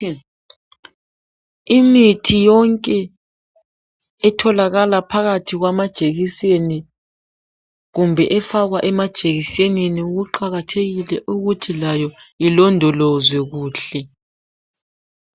Imithi yonke etholakala phakathi kwamajekiseni kumbe efakwa emajekisenini kuqakathekile ukuthi layo ilondolozwe kuhle.